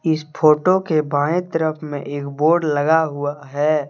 इस फोटो के बाएं तरफ में एक बोर्ड लगा हुआ अं है।